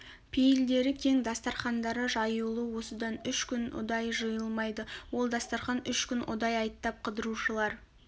пейілдері кең дастарқандары жаюлы осыдан үш күн ұдай жиылмайды ол дастарқан үш күн ұдай айттап қыдырушылар